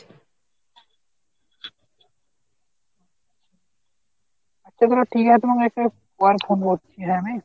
আচ্ছা তাহলে ঠিক আছে তোমাকে একটু পরে ফোন করছি হ্যাঁ আমি।